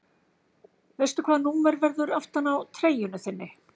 Veistu hvaða númer verður aftan á treyjunni þinni?